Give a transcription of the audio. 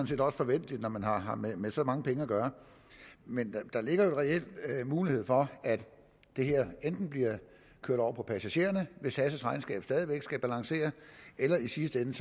set også forventeligt når man har har med med så mange penge at gøre men der ligger jo reelt en mulighed for at det her enten bliver kørt over på passagererne hvis sas regnskab stadig væk skal balancere eller i sidste ende